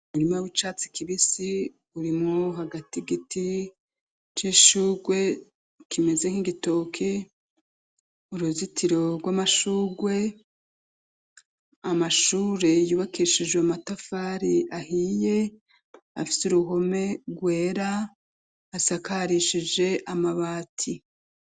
Umurima w'icatsi kibisi urimu hagati giti c'ishugwe kimeze nk'igitoki uruzitiro rw'amashugwe, amashure yubakishijwe amatafari ahiye afite uruhome rwera asakarishije amabati.